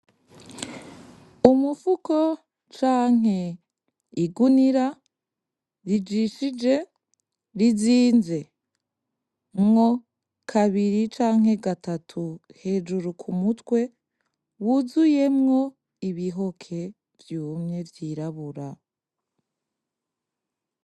Umufuko canke igunira rizinzemwo kabiri canke gatatu hejuru ku mutwe wuzuyemwo ibihoke vyumye vyirabura.